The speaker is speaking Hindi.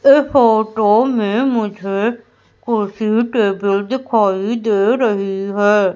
फोटो में मुझे कुर्सी टेबल दिखाई दे रही है।